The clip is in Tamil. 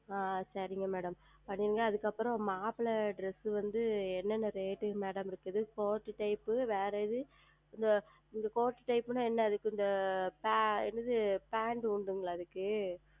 ஆஹ் சரிங்கள் Madam நீங்கள் அதற்கு அப்புறம் மாப்பிளை Dress வந்து என்ன என்ன Rate ல இருக்கிறது Court Type வேறு எது இந்த Court Type என்றால் என்ன அது கொஞ்சம் என்னது Pant உண்டுங்களா அதற்கு